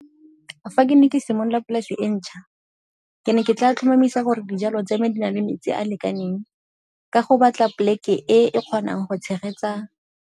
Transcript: Fa ke ne ke simolola polase e ntšha ke ne ke tla tlhomamisa gore dijalo tsa me di na le metsi a a lekaneng ka go batla poleke e e kgonang go tshegetsa.